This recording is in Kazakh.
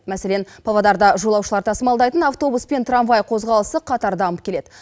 мәселен павлодарда жолаушылар тасымалдайтын автобус пен трамвай қозғалысы қатар дамып келеді